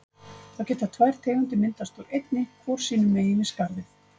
Þá geta tvær tegundir myndast úr einni, hvor sínum megin við skarðið.